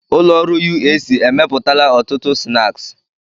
Ụlọ ọrụ UAC emepụtala ọtụtụ snaaskị.